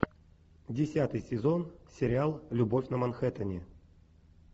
десятый сезон сериал любовь на манхэттене